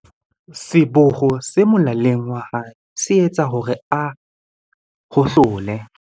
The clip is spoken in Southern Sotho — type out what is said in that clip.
Seboho se molaleng wa hae se etsa hore a hohlole.